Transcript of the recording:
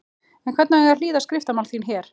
En hvernig á ég að hlýða á skriftamál þín. hér!